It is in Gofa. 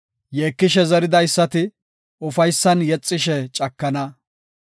Yeekishe zeridaysati, ufaysan yexishe cakana.